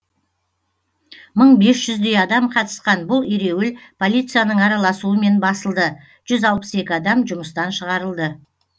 мың бес жүздей адам қатысқан бұл ереуіл полицияның араласуымен басылды жүз алпыс екі адам жұмыстан шығарылды